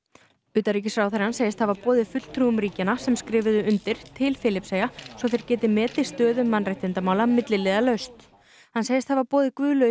utanríkisráðherrann segist hafa boðið fulltrúum ríkjanna sem skrifuðu undir til Filippseyja svo þeir geti metið stöðu mannréttindamála milliliðalaust hann segist hafa boðið Guðlaugi